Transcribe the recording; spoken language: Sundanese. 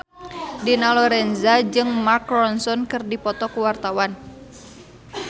Dina Lorenza jeung Mark Ronson keur dipoto ku wartawan